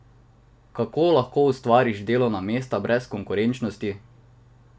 Kako lahko ustvariš delovna mesta brez konkurenčnosti?